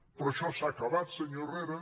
però això s’ha acabat senyor herrera